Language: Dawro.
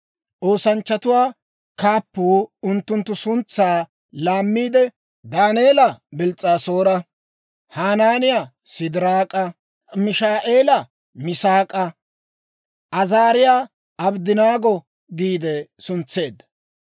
Oosanchchatuwaa kaappuu unttunttu suntsaa laammiide, Daaneela Bils's'aasoora, Hanaaniyaa Sidiraak'a, Mishaa'eela Misaak'a, Azaariyaa Abddanaago giide suntseedda.